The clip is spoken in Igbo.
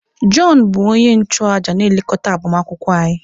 Jọn bụ onye nchụàjà na-elekọta agbamakwụkwọ anyị.